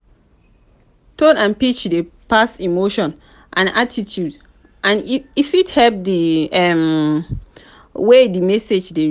tone and pitch dey pass emotions and attitudes and e fit affect di um way di message dey received.